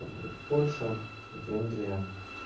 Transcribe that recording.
вот польша венгрия